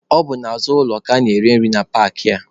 Ọ bụ n'azụ ụlọ ka a na-ere nri na paakị a.